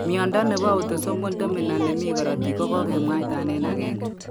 Miondo nebo autosomal dominant nemi korotik kokokemwaitan en agenge